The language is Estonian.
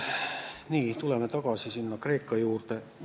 Nii, tuleme tagasi sinna Kreeka juurde.